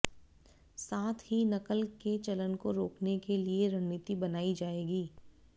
साथ ही नकल के चलन को रोकने के लिए रणनीति बनाई जाएगी